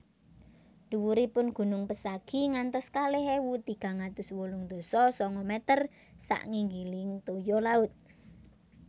Dhuwuripun gunung Pesagi ngantos kalih ewu tigang atus wolung dasa sanga meter sak nginggiling toya laut